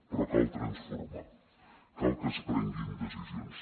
però cal transformar cal que es prenguin decisions